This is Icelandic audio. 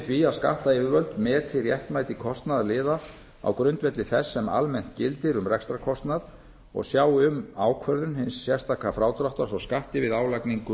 því að skattyfirvöld meti réttmæti kostnaðarliða á grundvelli þess sem almennt gildir um rekstrarkostnað og sjái um ákvörðun hins sérstaka frádráttar frá skatti við álagningu